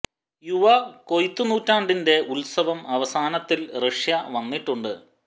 യുവ കൊയ്ത്തു ത് നൂറ്റാണ്ടിന്റെ ഉത്സവം അവസാനത്തിൽ റഷ്യ വന്നിട്ടുണ്ട്